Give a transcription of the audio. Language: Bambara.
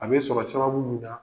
A be sɔrɔ sababu mun na